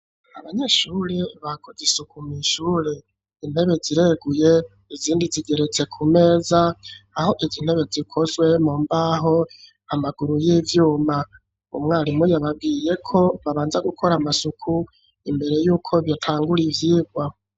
Abanyeshuri bakoze isuku mw'ishure, intebe zireguye izindi zigeretse ku meza aho izi ntebe zikozwe mu mbaho amaguru y'ivyuma, umwarimu yababwiye ko babanza gukora amasuku imbere y'uko batangura ivyigwa.